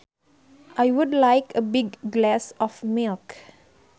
I would like a big glass of milk